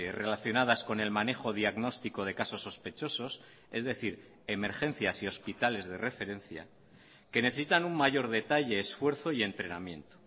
relacionadas con el manejo diagnóstico de casos sospechosos es decir emergencias y hospitales de referencia que necesitan un mayor detalle esfuerzo y entrenamiento